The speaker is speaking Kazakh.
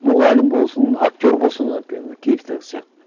мұғалім болсын актер болсын киевтегі сияқты